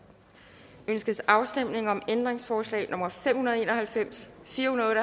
ønskes afstemning om ændringsforslag nummer fem hundrede og en og halvfems fire hundrede